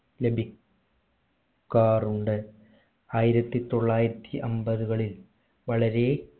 ലഭി ക്കാറുണ്ട് ആയിരത്തി തൊള്ളായിരത്തി അമ്പതുകളിൽ വളരെ